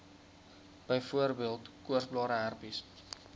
byvoorbeeld koorsblare herpes